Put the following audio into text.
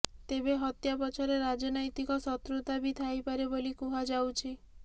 ତେବେ ହତ୍ୟା ପଛରେ ରାଜନୈତିକ ଶତ୍ରୁତା ବି ଥାଇପାରେ ବୋଲି କୁହାଯାଉଛି